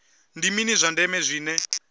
ndi mini zwa ndeme zwine